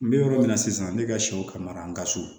N bɛ yɔrɔ min na sisan ne ka sɛw ka maraka so